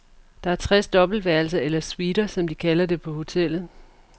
Der er tres dobbeltværelser, eller suiter som de kalder det på hotellet.